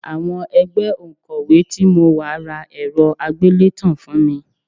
Àwọn ẹgbẹ́ òǹkọ́wé tí mo wà ra ẹ̀rọ àgbélétan fún mi